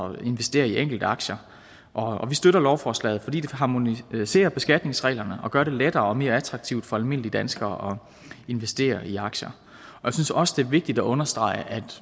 at investere i enkeltaktier og vi støtter lovforslaget fordi det harmoniserer beskatningsreglerne og gør det lettere og mere attraktivt for almindelige danskere at investere i aktier jeg synes også det er vigtigt at understrege at